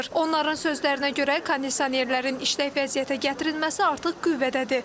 Onların sözlərinə görə kondisionerlərin işlək vəziyyətə gətirilməsi artıq qüvvədədir.